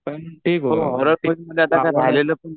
पण ठीक होतं हॉरर फिल्म